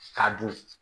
K'a don